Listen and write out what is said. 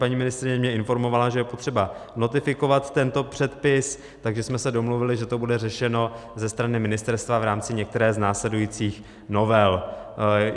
Paní ministryně mě informovala, že je potřeba notifikovat tento předpis, takže jsme se domluvili, že to bude řešeno ze strany ministerstva v rámci některé z následujících novel.